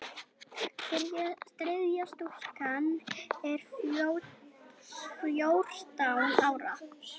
Þriðja stúlkan er fjórtán ára.